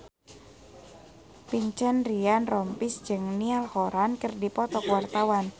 Vincent Ryan Rompies jeung Niall Horran keur dipoto ku wartawan